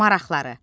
Maraqları.